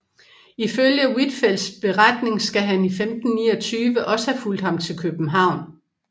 Ifølge Huitfeldts beretning skal han i 1529 også have fulgt ham til København